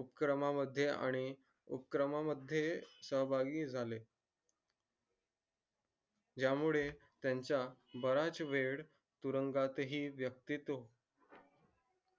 उपक्रमा मध्ये आणि उपक्रमा मध्ये सहभागी झाले या मुळे त्यांचा बराच वेळ तुरुंगात हि यक्तीत